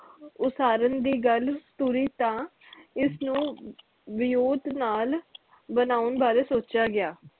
ਉਸਾਰਨ ਦੀ ਗੱਲ ਤੁਰੀ ਤਾ ਇਸ ਨੂੰ ਵਿਉਂਤ ਨਾਲ ਬਣੌਨ ਬਾਰੇ ਸੋਚਿਆ ਗਿਆ